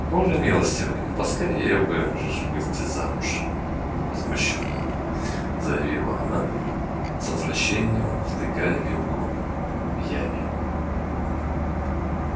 боже милостивый поскорее бы уж выйти замуж возмущённо заявила она с отвращением втыкая вилку в яме